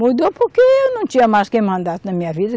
Mudou porque eu não tinha mais quem mandasse na minha vida.